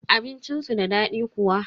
Abincin su da daɗi kuwa?